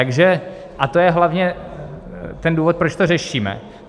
A to je hlavně ten důvod, proč to řešíme.